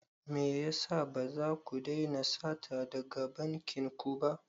Me yasa ba za ku daina sata daga bankin ku ba?